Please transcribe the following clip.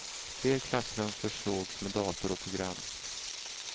Fler klassrum försågs med dator och program.